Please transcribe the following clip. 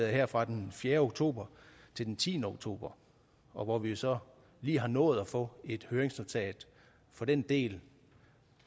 her fra den fjerde oktober til den tiende oktober og hvor vi jo så lige har nået at få et høringsnotat for den del